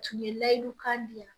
Tun ye layiyidu kan di yan